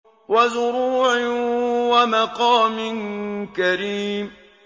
وَزُرُوعٍ وَمَقَامٍ كَرِيمٍ